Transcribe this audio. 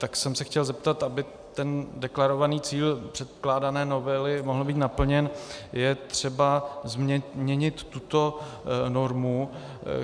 Tak jsem se chtěl zeptat - aby ten deklarovaný cíl předkládané novely mohl být naplněn, je třeba změnit tuto normu.